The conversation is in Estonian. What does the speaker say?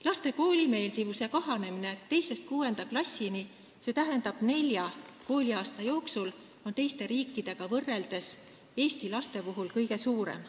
Laste koolimeeldivuse kahanemine 2.–6. klassini, st nelja kooliaasta jooksul, on Eestis teiste riikidega võrreldes kõige suurem.